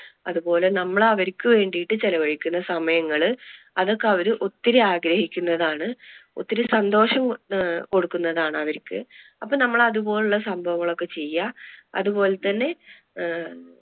അതുപോലെ നമ്മള് അവർക്ക് വേണ്ടിട്ട് ചിലവഴിക്കുന്ന സമയങ്ങള് അതൊക്കെ അവര് ഒത്തിരി ആഗ്രഹിക്കുന്നതാണ്. ഒത്തിരി സന്തോഷം അഹ് കൊടുക്കുന്നതാണ് അവർക്ക്, അപ്പൊ നമ്മൾ അതുപോലുള്ള സംഭവങ്ങൾ ഒക്കെ ചെയുക അതുപോലെ തന്നെ അഹ്